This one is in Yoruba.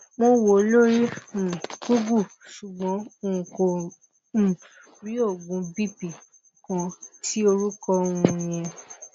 mo wò ó lóri um google ṣugbọn n kò um rí oogun bp kan ti orukọ um yẹn